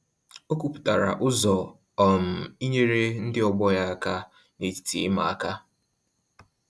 O kwuputara ụzọ um inyere ndị ọgbọ ya aka na-etiti ịma aka